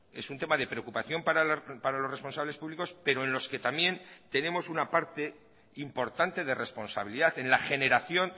es un tema de preocupación para los responsables públicos pero en los que también tenemos una parte importante de responsabilidad en la generación